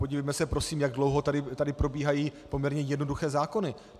Podívejme se prosím, jak dlouho tady probíhají poměrně jednoduché zákony.